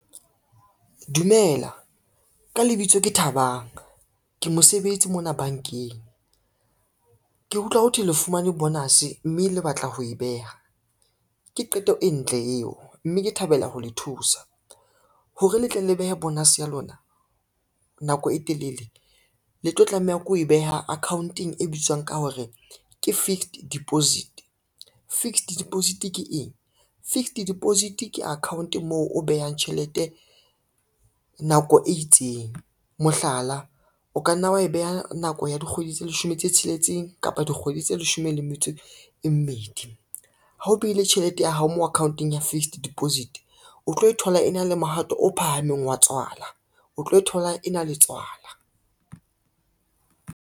Dumela ka lebitso ke Thabang ke mosebetsi mona bankeng. Ke utlwa ho thwe le fumane bonus, mme le batla ho e beha ke qeto e ntle eo, mme ke thabela ho le thusa. Hore le tle le behe bonus ya lona nako e telele le tlo tlameha ke ho e beha akhaonteng e bitswang ka hore ke fixed deposit. Fixed deposit ke eng, fixed deposit ke account moo o behang tjhelete nako e itseng. Mohlala, o ka nna wa e beha nako ya dikgwedi tse leshome tse tsheletseng kapa dikgwedi tse leshome le metso e mmedi. Ha o behile tjhelete ya hao mo akhaonteng ya fixed deposit, o tlo e thola e na le mohato o phahameng wa tswala o tlo e thola e na le tswala.